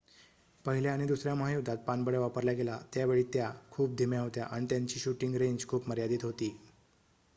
पहिल्या आणि दुसर्‍या महायुद्धात पाणबुड्या वापरल्या गेल्या त्यावेळी त्या खूप धीम्या होत्या आणि त्यांची शूटिंग रेंज खूप मर्यादित होती